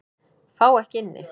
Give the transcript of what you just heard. Fá ekki inni